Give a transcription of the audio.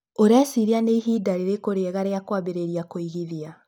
Ũreciria nĩ ihinda rĩrĩkũ rĩega rĩa kwambĩrĩria kũigithia?